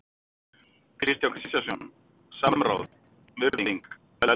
Kristján Kristjánsson, Samráð, virðing, velferð